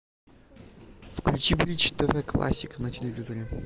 включи бридж тв классик на телевизоре